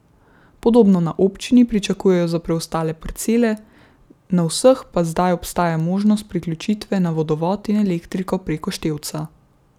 Podobno na občini pričakujejo za preostale parcele, na vseh pa zdaj obstaja možnost priključitve na vodovod in elektriko preko števca.